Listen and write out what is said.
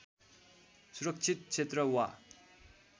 सुरक्षित क्षेत्र वा